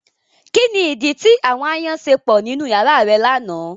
Kini idi ti àwọn aayan ṣe pọ ninu yara rẹ lana?